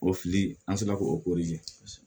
O fili an sera k'o